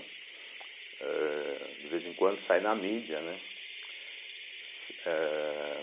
ãh de vez em quando sai na mídia, né? ãh